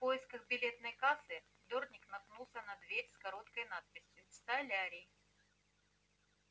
в поисках билетной кассы дорник наткнулся на дверь с короткой надписью солярий